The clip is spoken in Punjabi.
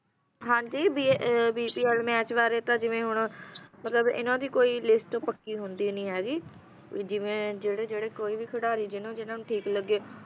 ਹਾਂ ਜੀ ppl ਮੈਚ ਬਾਰੇ ਤਾਂ ਜਿਵੇਂ ਹੁਣ ਇਨ੍ਹਾਂ ਦੀ ਕੋਈ list ਪੱਕੀ ਹੁੰਦੀ ਨਹੀਂ ਹੈਗੀ ਵੀ ਜਿਵੇਂ ਜਿਹੜੇ ਜਿਹੜੇ ਕੋਈ ਵੀ ਖਿਡਾਰੀ ਜਿਨ੍ਹਾਂ ਜਿਹਨ੍ਹਾਂ ਨੂੰ ਠੀਕ ਲੱਗੇ